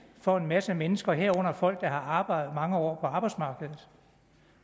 for en masse mennesker herunder folk der har arbejdet mange år